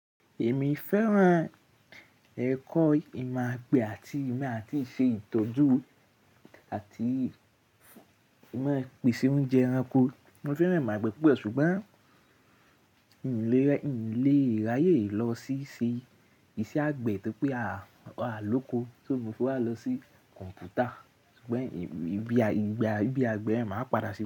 Èmi fẹ́ràn ẹ̀kọ́ ìmọ̀ àgbẹ̀ àti ìmọ̀ àti ìṣe ìtọ́jú àti ìmọ̀ pèsè oúnjẹ ẹranko. Mo fẹ́ràn ìmọ̀ àgbẹ̀ púpọ̀ ṣùgbọ́n ì ní lè ráyè lọ sí i ṣe iṣẹ́ àgbẹ̀ torí pé à lóko, sá mo tó wá lọ sí kọ̀m̀pútà ṣùgbọ́n ìgbé àgbẹ̀ máa padà sí i.